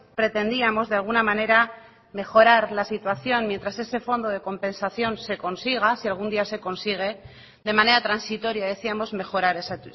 pretendíamos de alguna manera mejorar la situación mientras ese fondo de compensación se consiga si algún día se consigue de manera transitoria decíamos mejorar esa